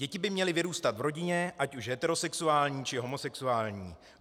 Děti by měly vyrůstat v rodině, ať už heterosexuální, či homosexuální.